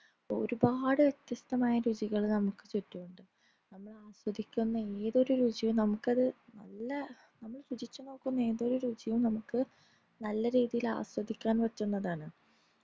ഒരുപാട് വിത്യസ്തമായാ രുചികൾ നമുക് ചുറ്റുമുണ്ട് നമ്മൾ ആസ്വദിക്കുന്ന ഏതൊരു രുചിയും നമ്മുക്കത് നല്ല നമ്മൾ രുചിച്ചു നോക്കുന്ന ഏതൊരു രുചിയും നമ്മുക് നല്ല രീതിയിൽ ആസ്വദിക്കാൻ പറ്റുന്നതാണ്